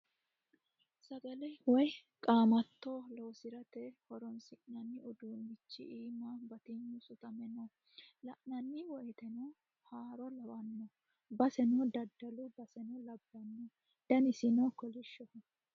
Sagale woyi qaamatto loosirate horonsi'nanni udiinichi iima batignu sutame no. La'nanni woyiiteno haaro lawanno. baseno daddalu baseno labbanno. Danisino kolishshoho.